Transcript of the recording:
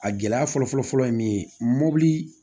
A gɛlɛya fɔlɔ fɔlɔ ye min ye mobili